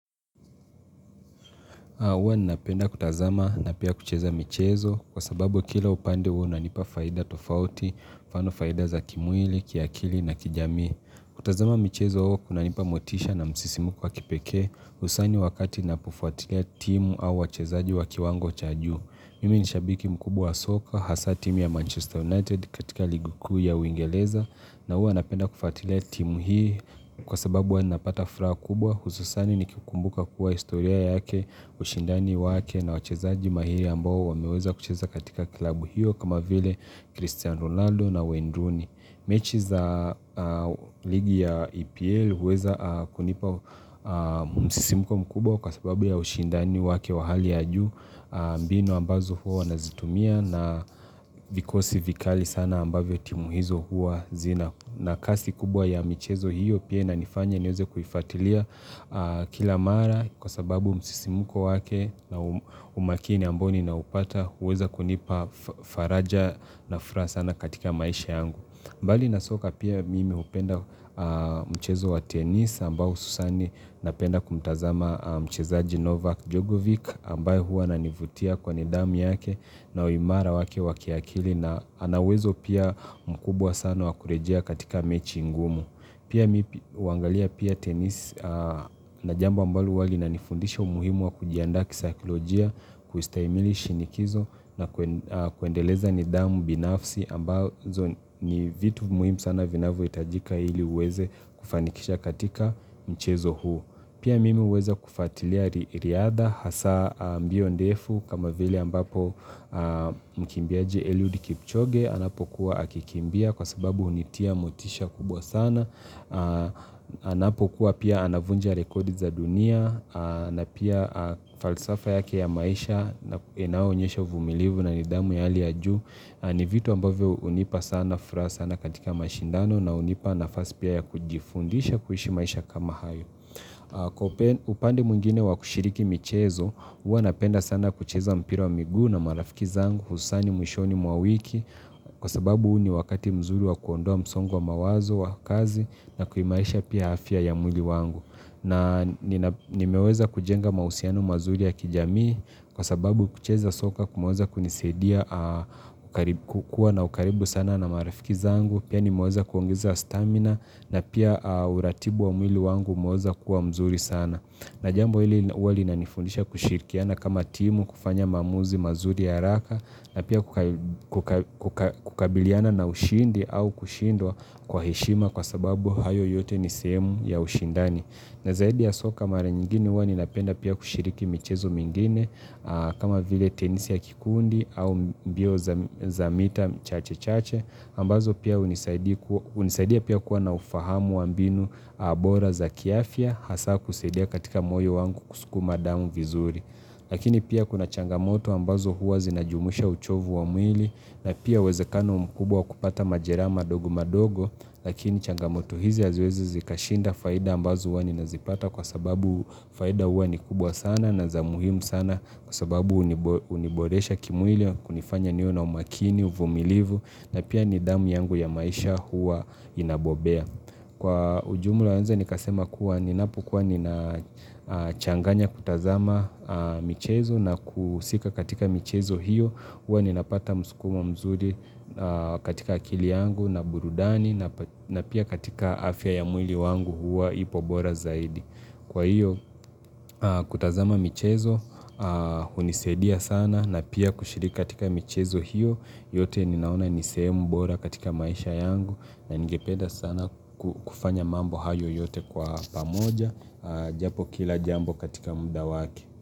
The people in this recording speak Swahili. Huwa ninapenda kutazama na pia kucheza michezo kwa sababu kila upande huwa inanipa faida tofauti, mfano faida za kimwili, kiakili na kijamii. Kutazama michezo huwa kunanipa motisha na msisimko wa kipekee usani wakati napofuatilia timu au wachezaji wa kiwango cha juu. Mimi ni shabiki mkubwa wa soka, hasa timu ya Manchester United katika ligi kuu ya uingeleza na uwa napenda kufuatilia timu hii kwa sababu huwa napata fraha kubwa. Hususani ni kukumbuka kuwa historia yake ushindani wake na wachezaji mahiri ambao wameweza kucheza katika kilabu hiyo kama vile Christian Ronaldo na Wayne Rooney mechi za ligi ya EPL huweza kunipa msisimko mkubwa kwa sababu ya ushindani wake wa hali ya juu mbinu ambazo huwa wanazitumia na vikosi vikali sana ambavyo timu hizo huwa zina. Na kasi kubwa ya michezo hiyo pia inanifanya niweze kuifatilia kila mara kwa sababu msisimko wake na umakini ambao ninaupata huweza kunipa faraja na furaha sana katika maisha yangu. Mbali na soka pia mimi hupenda mchezo wa tenis ambao hususani napenda kumtazama mchezaji Novak Djogovic ambaye huwa ananivutia kwa nidamu yake na uimara wake wa kiakili na ana uwezo pia mkubwa sana wa kurejea katika mechi ngumu. Pia mi huangalia pia tenisi na jambo ambalo huwa linanifundisha umuhimu wa kujiandaa kisakilojia kuistahimili shinikizo na kuendeleza nidhamu binafsi ambazo ni vitu muhimu sana vinavohitajika ili uweze kufanikisha katika mchezo huo. Pia mimi hweza kufatilia riadha hasa mbio ndefu kama vile ambapo mkimbiaji Eliud Kipchoge anapokuwa akikimbia kwa sababu hunitia motisha kubwa sana. Anapokuwa pia anavunja rekodi za dunia na pia falsafa yake ya maisha na inayoonyesha uvumilivu na nidhamu ya hali ya juu. Ni vitu ambavyo hunipa sana fraa sana katika mashindano na hunipa nafasi pia ya kujifundisha kuishi maisha kama hayo. Kwa upande mwengine wa kushiriki michezo, huwa napenda sana kucheza mpira wa miguu na marafiki zangu, husani mwishoni mwa wiki, kwa sababu huu ni wakati mzuri wa kuondoa msongo wa mawazo wa kazi na kuimarisha pia afya ya mwili wangu. Na nimeweza kujenga mahusiano mazuri ya kijamii kwa sababu kucheza soka kumeweza kunisaidia kukua na ukaribu sana na marafiki zangu Pia nimeweza kuongeza stamina na pia uratibu wa mwili wangu umeweza kuwa mzuri sana na jambo hili huwa linanifundisha kushirikiana kama timu kufanya maamuzi mazuri ya haraka na pia kukabiliana na ushindi au kushindwa kwa heshima kwa sababu hayo yote ni sehemu ya ushindani na zaidi ya soka mara nyingine huwa ninapenda pia kushiriki michezo mingine kama vile tenisi ya kikundi au mbio za mita chache-chache ambazo pia hunisaidia pia kuwa na ufahamu wa mbinu bora za kiafya hasa kusaidia katika moyo wangu kusukuma damu vizuri lakini pia kuna changamoto ambazo huwa zinajumuisha uchovu wa mwili na pia uwezekano mkubwa kupata majeraha madogo madogo Lakini changamoto hizi haziwezi zikashinda faida ambazo huwa ninazipata kwa sababu faida huwa ni kubwa sana na za muhimu sana kwa sababu huniboresha kimwili na kunifanya niwe na umakini, uvumilivu na pia nidhamu yangu ya maisha huwa inabobea. Kwa ujumla naeza nikasema kuwa ninapokuwa ninachanganya kutazama michezo na kuhusika katika michezo hiyo Huwa ninapata msukumo mzuri katika akili yangu na burudani na pia katika afya ya mwili wangu huwa ipo bora zaidi Kwa hiyo kutazama michezo hunisaidia sana na pia kushiriki katika michezo hiyo yote ninaona ni sehemu bora katika maisha yangu na ningependa sana kufanya mambo hayo yote kwa pamoja Japo kila jambo katika mda wake.